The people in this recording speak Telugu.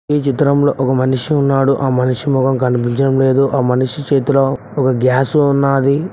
ఈ చిత్రంలో ఒక మనిషి ఉన్నాడు ఆ మనిషి మొహం కనిపించడం లేదు ఆ మనిషి చేతిలో ఒక గ్యాస్ ఉన్నది.